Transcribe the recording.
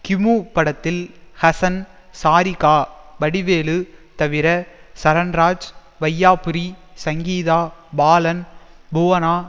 கிமு படத்தில் ஹசன் சாரிகா வடிவேலு தவிர சரண்ராஜ் வையாபுரி சங்கீதா பாலன் புவனா